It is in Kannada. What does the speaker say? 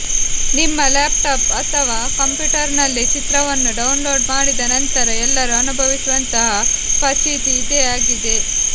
ನಿಮ್ಮ ಲ್ಯಾಪ್ಟಾಪ್ ಅಥವಾ ಕಂಪ್ಯೂಟರ್ನಲ್ಲಿ ಚಿತ್ರವನ್ನು ಡೌನ್ಲೋಡ್ ಮಾಡಿದ ನಂತರ ಎಲ್ಲರೂ ಅನುಭವಿಸುವಂತಹ ಫಜೀತಿ ಇದೇ ಆಗಿದೆ